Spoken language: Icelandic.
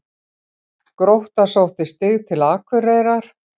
Grótta sótti stig til Akureyrar